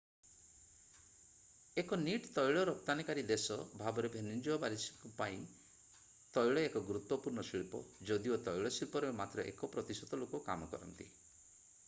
ଏକ ନିଟ୍ ତୈଳ ରପ୍ତାନିକାରୀ ଦେଶ ଭାବରେ ଭେନେଜୁଏଲାବାସୀଙ୍କ ପାଇଁ ତୈଳ ଏକ ଗୁରୁତ୍ଵପୂର୍ଣ୍ଣ ଶିଳ୍ପ ଯଦିଓ ତୈଳ ଶିଳ୍ପରେ ମାତ୍ର ଏକ ପ୍ରତିଶତ ଲୋକ କାମ କରନ୍ତି